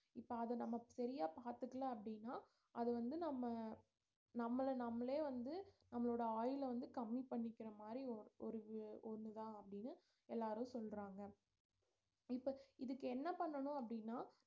இப்ப அத நாம சரியா பார்த்துக்கல அப்படின்னா அது வந்து நம்ம நம்மள நாமளே வந்து நம்மளோட ஆயுள வந்து கம்மி பண்ணிக்கிற மாரி ஓ~ ஒரு ஒன்னுதான் அப்படினு எல்லாரும் சொல்றாங்க இப்ப இதுக்கு என்ன பண்ணணும் அப்படின்னா